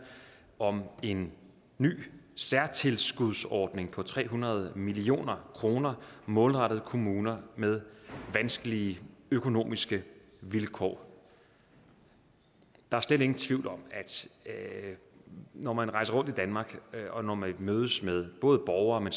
om en ny særtilskudsordning på tre hundrede million kroner målrettet kommuner med vanskelige økonomiske vilkår der er slet ingen tvivl om at når man rejser rundt i danmark og når man mødes med både borgere men